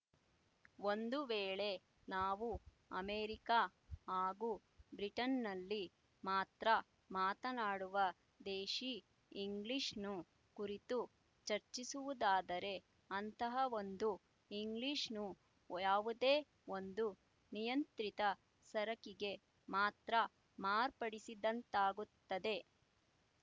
ಒಂದು ವೇಳೆ ನಾವು ಅಮೇರಿಕ ಹಾಗೂ ಬ್ರಿಟನ್‍ನಲ್ಲಿ ಮಾತ್ರ ಮಾತನ್ನಾಡುವ ದೇಶಿ ಇಂಗ್ಲಿಶ್‌ನು ಕುರಿತು ಚರ್ಚಿಸುವುದಾದರೆ ಅಂತಹವೊಂದು ಇಂಗ್ಲಿಶ್‌ನು ಯಾವುದೇ ಒಂದು ನಿಯಂತ್ರಿತ ಸರಕಿಗೆ ಮಾತ್ರ ಮಾರ್ಪಡಿಸಿದಂತಾಗುತ್ತದೆ